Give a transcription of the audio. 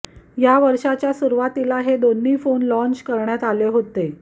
या वर्षाच्या सुरुवातीला हे दोन्ही फोन लाँच करण्यात आले होते